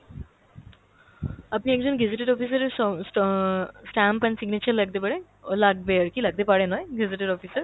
আপনি একজন gazetted officer এর স~ স~ stamp and signature লাগতে পারে, লাগবে আরকি লাগতে পারে নয়, gazetted officer